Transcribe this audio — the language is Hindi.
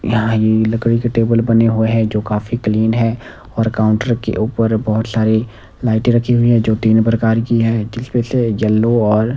यहां ई लकड़ी के टेबल बने हुए हैं जो काफी क्लीन है और काउंटर के ऊपर बहोत सारी लाइटे रखी हुई है जो तीन प्रकार की है जिसमें से येलो और--